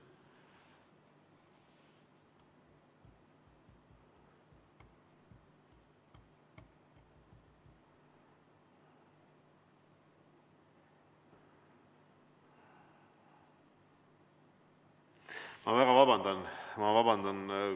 Ma väga vabandan, ma vabandan!